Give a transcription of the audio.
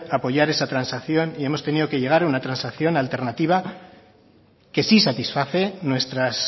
apoyar esa transacción y hemos tenido que llevar una transacción alternativa que sí satisface nuestras